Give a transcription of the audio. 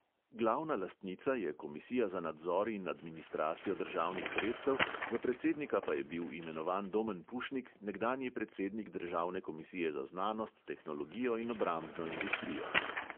Glavna lastnica je komisija za nadzor in administracijo državnih sredstev, za predsednika pa je bil imenovan domen pušnik, nekdanji predsednik državne komisije za znanost, tehnologijo in obrambno industrijo.